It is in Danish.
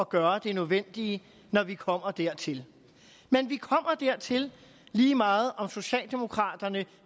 gøre det nødvendige når vi kommer dertil men vi kommer dertil lige meget om socialdemokraterne